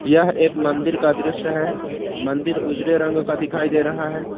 यह एक मंदिर का दृश्य है मंदिर उजले रंग का दिखाई दे रहा है।